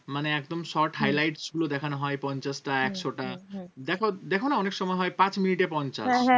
মানে একদম short highlights গুলো দেখানো হয় পঞ্চাশটা একশোটা দেখো দেখো না অনেক সময় হয় পাঁচ মিনিটে পঞ্চাশ হ্যাঁ হ্যাঁ